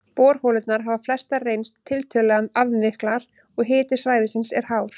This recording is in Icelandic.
Borholurnar hafa flestar reynst tiltölulega aflmiklar, og hiti svæðisins er hár.